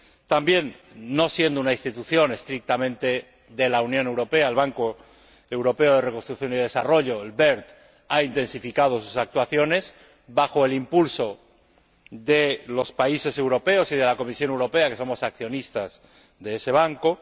También, no siendo una institución estrictamente de la Unión Europea, el Banco Europeo de Reconstrucción y Desarrollo ha intensificado sus actuaciones bajo el impulso de los países europeos y de la Comisión Europea, que somos accionistas de ese banco.